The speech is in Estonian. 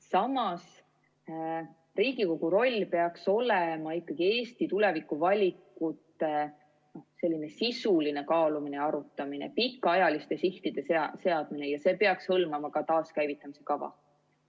Samas, Riigikogu roll peaks olema ikkagi Eesti tulevikuvalikute sisuline kaalumine ja arutamine, pikaajaliste sihtide seadmine ja see peaks hõlmama ka taaskäivitamise kava.